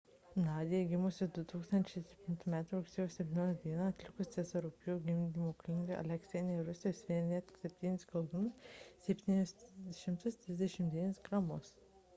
nadia gimusi 2007 m rugsėjo 17 d atlikus cezario pjūvį gimdymo klinikoje aleiske rusijoje svėrė net 7 kilogramus 739 gramus